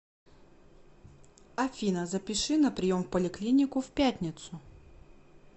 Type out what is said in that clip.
афина запиши на прием в поликлинику в пятницу